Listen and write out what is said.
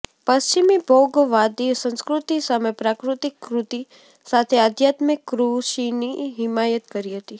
પશ્ચિમી ભોગવાદી સંસ્કૃતિ સામે પ્રાકૃતિક કૃષિ સાથે આદ્યાત્મિક કૃષિની હિમાયત કરી હતી